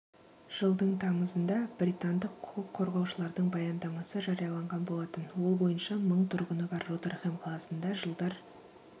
жылдың тамызында британдық құқық қорғаушылардың баяндамасы жарияланған болатын ол бойынша мың тұрғыны бар ротерхэм қаласында жылдар